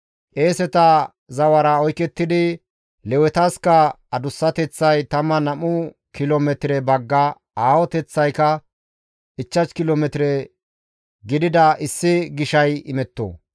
«Qeeseta zawara oykettidi, Lewetaska adussateththay 12 kilo metire bagga, aahoteththaykka 5 kilo metire gidida issi gishay imetto.